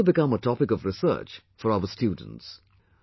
This could also become a topic of research for our students